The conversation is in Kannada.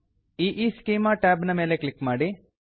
EEschemaಇಇಸ್ಕೀಮಾ ಟ್ಯಾಬ್ ನ ಮೇಲೆ ಕ್ಲಿಕ್ ಮಾಡಿ